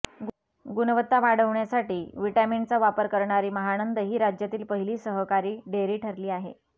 गुणवत्ता वाढवण्यासाठी व्हिटॅमिनचा वापर करणारी महानंद ही राज्यातील पहिली सहकारी डेअरी ठरली आहे